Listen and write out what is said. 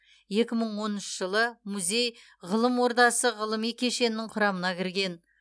екі мың оныншы жылы музей ғылым ордасы ғылыми кешенінің құрамына кірген